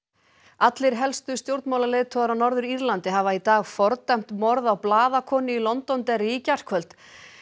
allir helstu stjórnmálaleiðtogar á Norður Írlandi hafa í dag fordæmt morð á blaðakonu í í gærkvöld